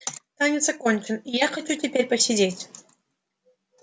танец окончен и я хочу теперь посидеть